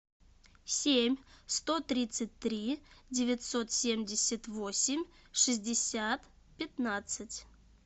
семь сто тридцать три девятьсот семьдесят восемь шестьдесят пятнадцать